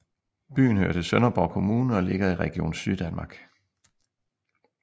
Byen hører til Sønderborg Kommune og ligger i Region Syddanmark